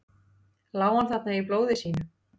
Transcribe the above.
Lá hann þarna í blóði sínu?